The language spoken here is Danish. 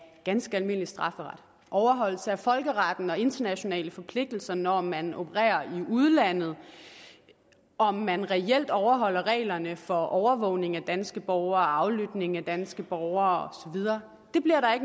ganske almindelig strafferet overholdelse af folkeretten og internationale forpligtelser når man opererer i udlandet og om man reelt overholder reglerne for overvågning af danske borgere og aflytning af danske borgere